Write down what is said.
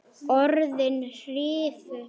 Var það þess virði?